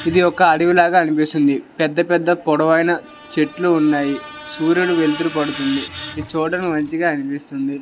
ఇది ఒక అడవిలో అనిపిస్తుంది పెద్ద పెద్ద పోడవ అయినా చెట్లు ఉన్నాయి సూర్యుడు వెలుతురు పడుతోంది ఈ చోటు మంచిగా అనిపిస్తుంది.